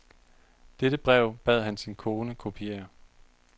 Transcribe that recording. Dette brev bad han sin kone kopiere.